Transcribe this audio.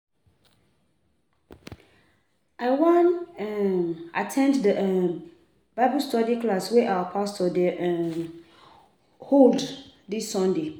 I wan um at ten d the um Bible study class wey our pastor dey um hold dis sunday